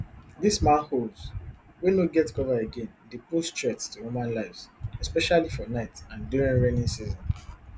dis manholes wey no get cover again dey pose threat to human lives especially for night and during raining season